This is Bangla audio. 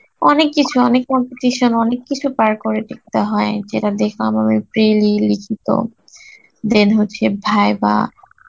অনেক কিছু অনেক competition, অনেক কিছু পার করে দেখতে হয়, যেটা দেখে আমার ওই লিখিত, যে হচ্ছে viva